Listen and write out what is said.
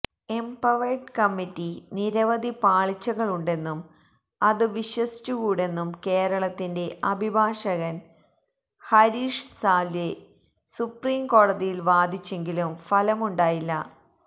empowered committee നിരവധി പാളിച്ചകളുണ്ടെന്നും അത് വിശ്വസിച്ചു കൂടെന്നും കേരളത്തിന്റെ അഭിഭാഷകന് ഹരീഷ് സാല്വേ സുപ്രീം കോടതിയില് വാദിച്ചെങ്കിലും ഫലമുണ്ടായില്ല